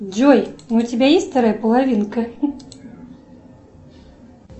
джой у тебя есть вторая половинка